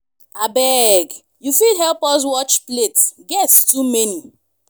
abeg you fit help us watch plate guests too many.